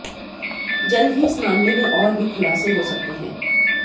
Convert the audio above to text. जल्द ही इस मामले में और भी खुलासे हो सकते हैं